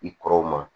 I kɔrɔw ma